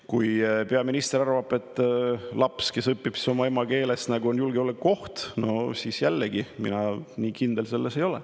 Kui peaminister arvab, et laps, kes õpib oma emakeeles, on julgeolekuoht, siis jällegi, mina selles nii kindel ei ole.